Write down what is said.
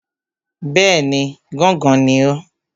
Bẹ́ẹ̀ni, gángan ni o.